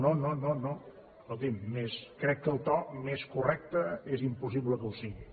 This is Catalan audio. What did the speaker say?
no no escolti’m crec que el to més correcte és impossible que ho sigui